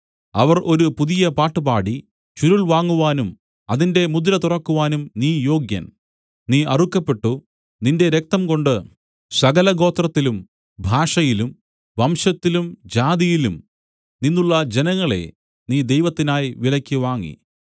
അവർ ഒരു പുതിയ പാട്ട് പാടി ചുരുൾ വാങ്ങുവാനും അതിന്റെ മുദ്ര തുറക്കുവാനും നീ യോഗ്യൻ നീ അറുക്കപ്പെട്ടു നിന്റെ രക്തംകൊണ്ടു സകലഗോത്രത്തിലും ഭാഷയിലും വംശത്തിലും ജാതിയിലും നിന്നുള്ള ജനങ്ങളെ നീ ദൈവത്തിനായി വിലയ്ക്കു വാങ്ങി